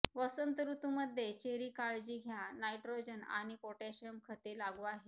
वसंत ऋतू मध्ये चेरी काळजी घ्या नायट्रोजन आणि पोटॅशियम खते लागू आहे